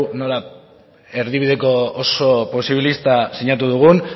nolako erdibideko oso posibilista sinatu dugun